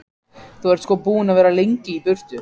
Þú ert sko búinn að vera of lengi í burtu.